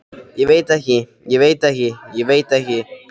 Ég veit ekki, ég veit ekki, ég veit ekki.